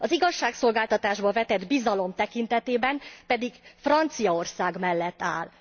Az igazságszolgáltatásba vetett bizalom tekintetében pedig Franciaország mellett áll.